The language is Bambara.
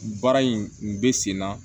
Baara in kun bɛ sen na